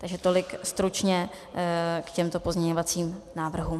Takže tolik stručně k těmto pozměňovacím návrhům.